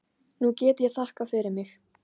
Nú get ég þakkað fyrir mig.